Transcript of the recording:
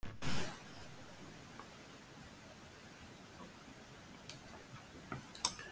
og fer hann fram í